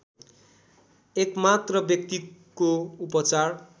एकमात्र व्यक्तिको उपचार